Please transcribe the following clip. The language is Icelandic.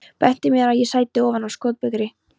Benti mér á að ég sæti ofan á skotbyrgi.